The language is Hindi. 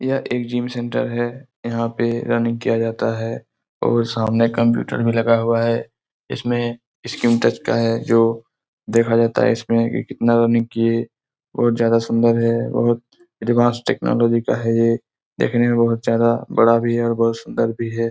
यह एक जिम सेंटर है। यहाँ पे रनिंग किया जाता है और सामने कंप्यूटर भी लगा हुआ है। इसमें स्क्रीन टच का है जो देखा जाता है इसमें की कितना रनिंग किये। बहुत ज्यादा सुंदर है और एडवांस टेक्नोलॉजी का है ये। देखने में बहुत ज्यादा और बहुत बड़ा भी है और बहुत सुंदर भी है।